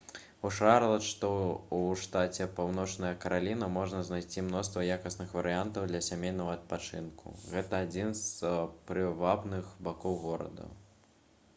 у шарлат што ў штаце паўночная караліна можна знайсці мноства якасных варыянтаў для сямейнага адпачынку гэта адзін з прывабных бакоў горада